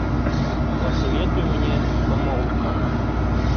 посоветуй мне помолвка